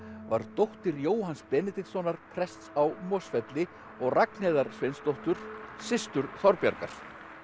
var dóttir Jóhanns Benediktssonar prests á Mosfelli og Ragnheiðar Sveinsdóttur systur Þorbjargar